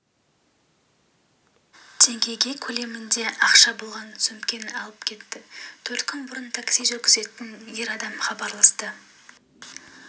теңге көлемінде ақша болған сөмкені алып кетті төрт күн бұрын такси жүргізетін ер адам хабарласты